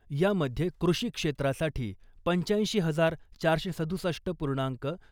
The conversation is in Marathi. यामध्ये कृषी क्षेत्रासाठी पंचाऐंशी हजार चारशे सदुसष्ट पूर्णांक